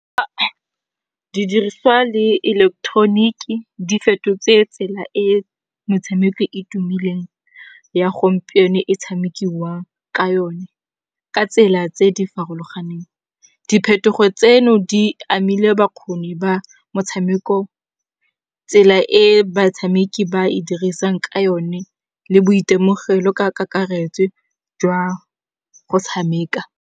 Didiriswa le eleketeroniki di fetotse tsela e metshameko e tumileng ya gompieno e tshamekiwang ka yone ka tsela tse di farologaneng. Diphetogo tseno di amile bakgoni ba motshameko tsela e batshameki ba e dirisang ka yone le boitemogelo ka kakaretso jwa go tshameka.